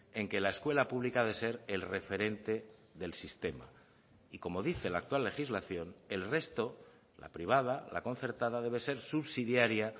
en que la escuela pública ha de ser el referente del sistema y como dice la actual legislación el resto la privada la concertada debe ser subsidiaria